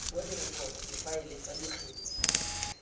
wa direkoto difaele tsa dikgetse